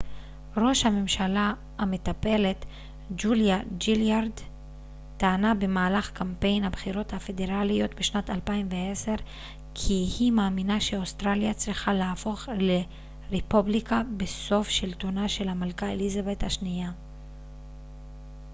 ראש הממשלה המטפלת ג'וליה גילארד טענה במהלך קמפיין הבחירות הפדרליות בשנת 2010 כי היא מאמינה שאוסטרליה צריכה להפוך לרפובליקה בסוף שלטונה של המלכה אליזבת השנייה